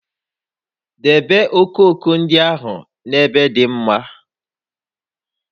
Debe okooko ndị ahụ n'ebe dị mma!